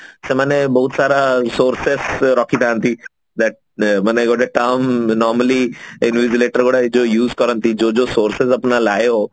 ସେମାନେ ବହୁତ ସାରା sources ରଖି ଥାନ୍ତି but ଗୋଟେ term normally ଯୋଉ use କରନ୍ତି